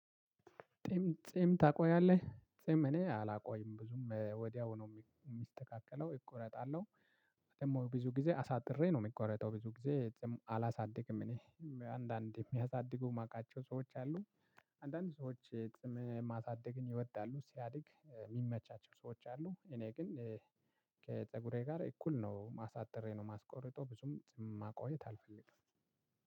ጢም ጺም ታቆያለህ ጺም እኔ አላቆይም ብዙም ወዲያው ነው ሚ የሚስተካከለው እቆረጣለሁ። ደግሞ ብዙ ጊዜ አሳጥሬ ነው የሚቆረጠው ብዙ ጊዜ ጺም አላሳድግም እኔ አንዳንድ የሚያሳድጉ የማውቃቸው ሰዎች አሉ። አንዳንድ ሰዎች ጺም ማሳደግን ይወዳሉ ሲያድግ የሚመቻቸው ሰዎች አሉ። እኔ ግን ከፀጉሬ ጋር እኩል ነው ማ አሳጥሬ ነው ማስቆርጦ ብዙም ጺም ማቆየት አልፈልግም።